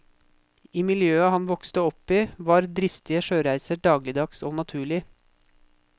I miljøet han vokste opp i, var dristige sjøreiser dagligdags og naturlig.